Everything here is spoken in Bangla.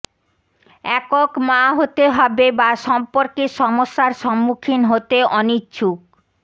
একক মা হতে হবে বা সম্পর্কের সমস্যার সম্মুখীন হতে অনিচ্ছুক